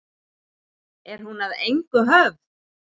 Er hún að engu höfð?